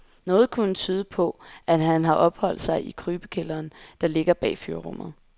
Noget kunne tyde på, at han har opholdt sig i krybekælderen, der ligger bag fyrrummet.